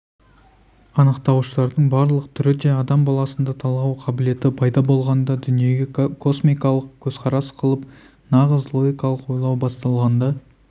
анықтауыштардың барлық түрі де адам баласында талғау қабілеті пайда болғанда дүниеге космикалық көзқарас қылып нағыз логикалық ойлау басталғанда